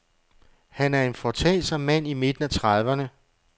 Han er en foretagsom mand i midten af trediverne.